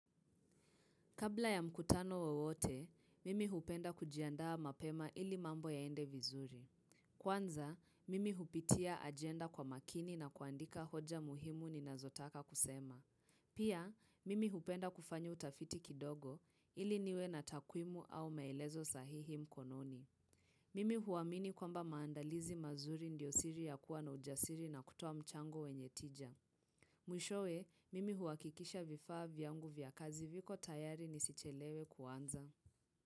Kabla ya mkutano wowote, mimi hupenda kujiandaa mapema ili mambo yaende vizuri. Kwanza, mimi hupitia ajenda kwa makini na kuandika hoja muhimu ninazotaka kusema. Pia, mimi hupenda kufanya utafiti kidogo ili niwe na takwimu au maelezo sahihi mkononi. Mimi huamini kwamba maandalizi mazuri ndiyo siri ya kuwa na ujasiri na kutoa mchango wenye tija. Mwishowe, mimi huhakikisha vifaa vyangu vya kazi viko tayari nisichelewe kuanza.